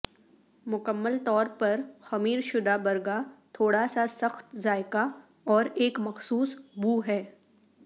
مکمل طور پر خمیر شدہ برگا تھوڑا سا سخت ذائقہ اور ایک مخصوص بو ہے